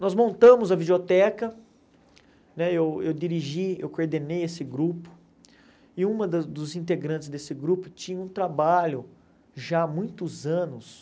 Nós montamos a videoteca, né eu eu dirigi, eu coordenei esse grupo, e uma dos integrantes desse grupo tinha um trabalho já há muitos anos,